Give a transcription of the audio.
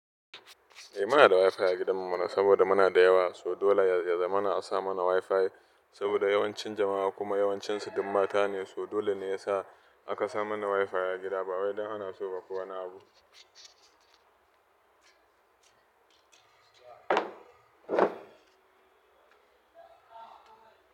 Eh muna da wifi a gidan mu mana, saboda muna da yawa, so dole ya zama ana sa mana wifi saboda yawancin jama'a kuma yawancinsu duk mata ne, so dole ne ya sa aka sa mana wifi a gida ba wai don ana so ba ko wani abu.